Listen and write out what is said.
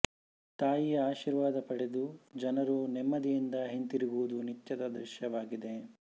ತಾಯಿಯ ಆಶೀರ್ವಾದ ಪಡೆದು ಜನರು ನೆಮ್ಮದಿಯಿಂದ ಹಿಂತಿರುಗುವುದು ನಿತ್ಯದ ದೃಶ್ಯವಾಗಿದೆ